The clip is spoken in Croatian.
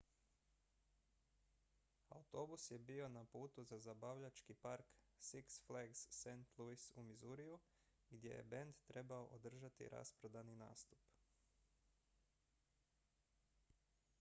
autobus je bio na putu za zabavljački park six flags st louis u missouriju gdje je bend trebao održati rasprodani nastup